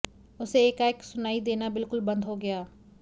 उसे एकाएक सुनाई देना बिलकुल बंद हो गया